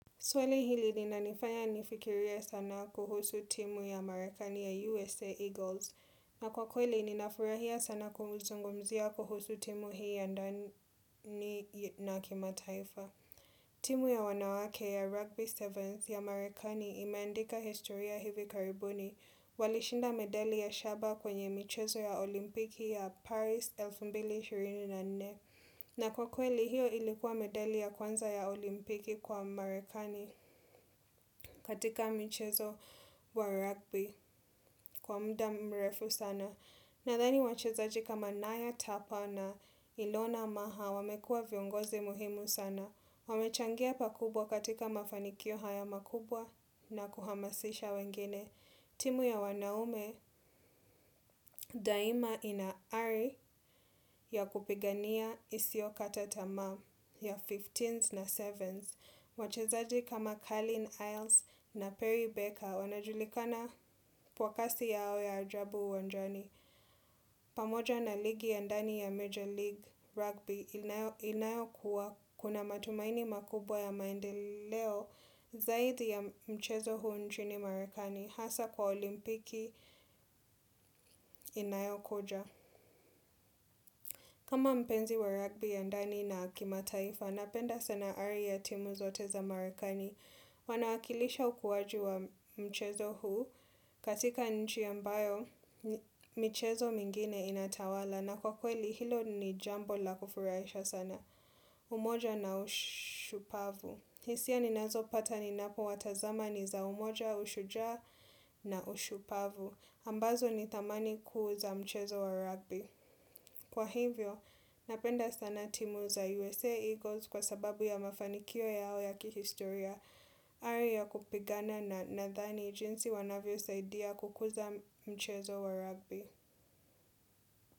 Swali hili linanifanya nifikirie sana kuhusu timu ya Marekani ya USA Eagles. Na kwa kweli ninafurahia sana kuuzungumzia kuhusu timu hii ya ndani na kimataifa. Timu ya wanawake ya Rugby 7th ya Marekani imeandika historia hivi karibuni. Walishinda medali ya shaba kwenye michezo ya olimpiki ya Paris 2024. Na kwa kweli hiyo ilikuwa medali ya kwanza ya olimpiki kwa marekani katika michezo wa rugby kwa muda mrefu sana. Nadhani wachezaji kama naya Tapa na Ilona Maha wamekua viongozi muhimu sana. Wamechangia pakubwa katika mafanikio haya makubwa na kuhamasisha wengine. Timu ya wanaume daima ina ari ya kupigania isiyo kata tamaa ya 15s na 7s. Wachezaji kama Calleen Iles na Perry Baker wanajulikana kwa kasi yao ya ajabu uwanjani. Pamoja na ligi ya ndani ya Major League Rugby inayokuwa kuna matumaini makubwa ya maendeleo zaidi ya mchezo huu nchini marekani. Hasa kwa olimpiki inayokoja kama mpenzi wa rugby ya ndani na kimataifa Napenda sana ari ya timu zote za marekani Wanawakilisha ukuaji wa mchezo huu katika nchi ambayo michezo mingine inatawala na kwa kweli hilo ni jambo la kufurahisha sana umoja na ushupavu hisia ninazopata ninapowatazama ni za umoja ushujaa na ushupavu ambazo ni thamani kuu za mchezo wa rugby Kwa hivyo, napenda sana timu za USA Eagles kwa sababu ya mafanikio yao ya kihistoria ari ya kupigana nadhani jinsi wanavyosaidia kukuza mchezo wa rugby.